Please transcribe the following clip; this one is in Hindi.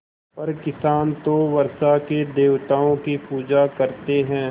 पर किसान तो वर्षा के देवताओं की पूजा करते हैं